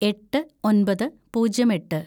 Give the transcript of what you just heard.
എട്ട് ഒന്‍പത് പൂജ്യം എട്ട്‌